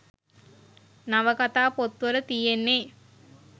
නවකතා පොත් වල තියෙන්නෙ